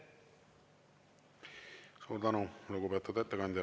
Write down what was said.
Suur tänu, lugupeetud ettekandja!